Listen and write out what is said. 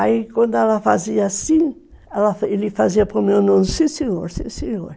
Aí quando ela fazia assim, ele fazia para o meu nono, sim senhor, sim senhor.